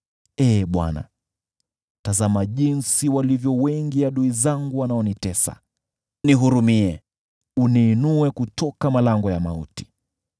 Ee Bwana , tazama jinsi walivyo wengi adui zangu wanaonitesa! Nihurumie, uniinue kutoka malango ya mauti,